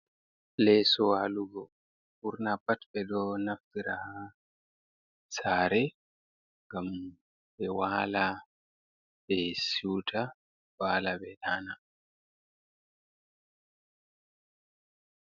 Leeso walugo. Ɓurna pat ɓe ɗo naftira saare ngam ɓe waala ɓe siwta, waala ɓe ɗaana.